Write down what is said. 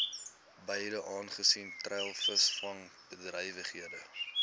gebiede aangesien treilvisvangbedrywighede